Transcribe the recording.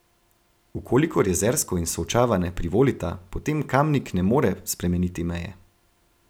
V kolikor Jezersko in Solčava ne privolita, potem Kamnik ne more spremeniti meje.